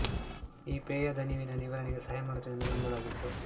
ಈ ಪೇಯ ದಣಿವಿನ ನಿವಾರಣೆಗೆ ಸಹಾಯ ಮಾಡುತ್ತದೆ ಎಂದು ನಂಬಲಾಗಿತ್ತು